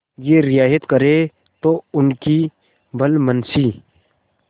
यह रियायत करें तो उनकी भलमनसी